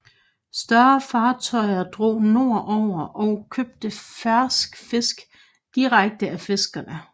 Større fartøjer drog nord over og købte fersk fisk direkte af fiskerne